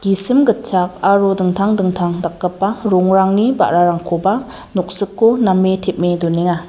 gisim gitchak aro dingtang dingtang dakgipa rongrangni ba·rarangkoba noksiko name tem·e donenga.